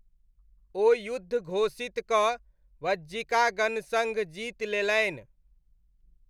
ओ युद्ध घोषित कऽ वज्जिका गणसङ्घ जीति लेलनि।